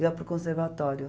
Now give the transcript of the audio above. Eu ia para o conservatório.